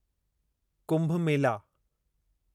Kumbh Mela